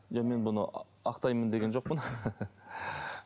жоқ мен бұны ақтаймын деген жоқпын